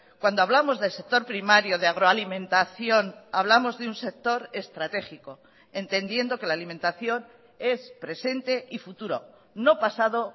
cuando hablamos del sector primario de agroalimentación hablamos de un sector estratégico entendiendo que la alimentación es presente y futuro no pasado